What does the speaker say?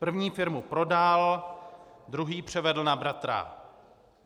První firmu prodal, druhý převedl na bratra.